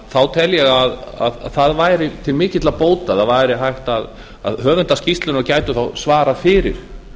þá tel ég að það væri til mikilla bóta að höfundar skýrslunnar gætu þá svarað fyrir